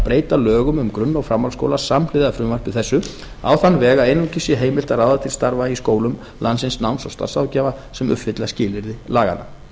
breyta lögum um grunn og framhaldsskóla samhliða frumvarpi þessu á þann veg að einungis sé heimilt að ráða til starfa í skólum landsins náms og starfsráðgjafa sem uppfylla skilyrði laganna